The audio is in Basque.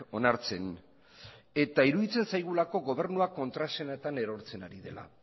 onartzen eta iruditzen zaigulako gobernuak kontraesanetan erortzen ari dela